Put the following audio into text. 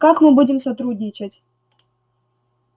как мы будем сотрудничать